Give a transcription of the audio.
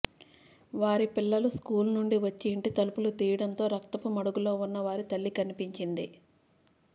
వారి పిల్లలు స్కూల్ నుండి వచ్చి ఇంటి తలుపులు తీయడంతో రక్తపు మడుగులో ఉన్న వారి తల్లి కనిపించింది